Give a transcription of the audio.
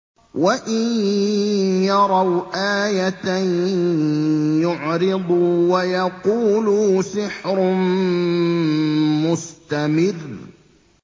وَإِن يَرَوْا آيَةً يُعْرِضُوا وَيَقُولُوا سِحْرٌ مُّسْتَمِرٌّ